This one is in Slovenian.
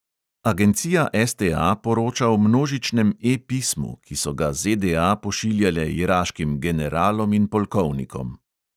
Agencija STA poroča o množičnem E pismu, ki so ga ZDA pošiljale iraškim generalom in polkovnikom.